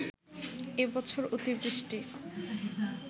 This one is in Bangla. এ বছর অতিবৃষ্টি